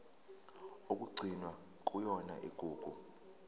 okugcinwe kuyona igugu